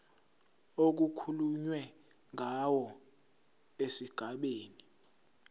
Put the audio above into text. okukhulunywe ngawo esigabeni